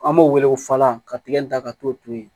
An b'o wele ko falan ka tigɛ in da ka t'o to yen